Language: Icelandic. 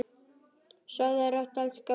Sofðu rótt, elsku pabbi minn.